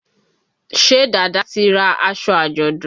Ṣé Dàda ti ra aṣọ àjọ̀dún?